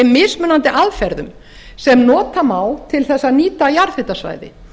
mismunandi aðferðum sem nota má til að nýta jarðhitasvæði